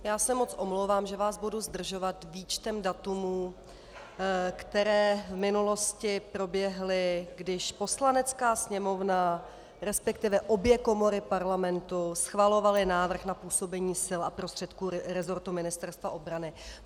Já se moc omlouvám, že vás budu zdržovat výčtem dat, která v minulosti proběhla, když Poslanecká sněmovna, respektive obě komory Parlamentu schvalovaly návrh na působení sil a prostředků rezortu Ministerstva obrany.